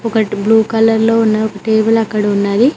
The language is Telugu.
ఒకటి బ్లూ కలర్ లో ఉన్న ఒక టేబుల్ అక్కడ ఉన్నది.